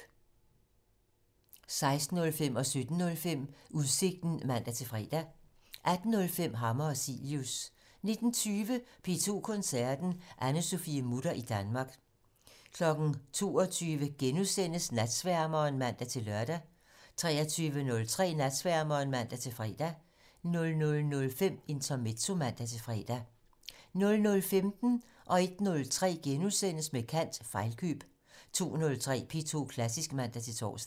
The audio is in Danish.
16:05: Udsigten (man-fre) 17:05: Udsigten (man-fre) 18:05: Hammer og Cilius 19:20: P2 Koncerten - Anne-Sophie Mutter i Danmark 22:00: Natsværmeren *(man-lør) 23:03: Natsværmeren (man-fre) 00:05: Intermezzo (man-fre) 00:15: Med kant - Fejlkøb * 01:03: Med kant - Fejlkøb * 02:03: P2 Klassisk (man-tor)